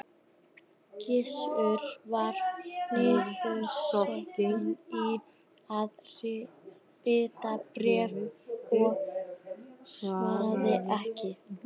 Gizur var niðursokkinn í að rita bréfið og svaraði ekki.